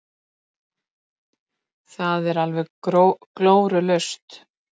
Það er alveg glórulaust.